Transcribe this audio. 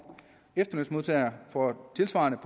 efterlønsmodtagere får tilsvarende